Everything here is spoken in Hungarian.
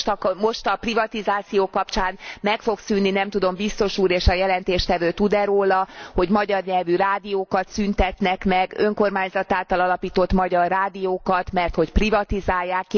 Ugye most a privatizáció kapcsán meg fog szűnni, nem tudom, Biztos Úr és a jelentéstevő tud e róla, hogy magyar nyelvű rádiókat szüntetnek meg, önkormányzat által alapított magyar rádiókat, merthogy privatizálják.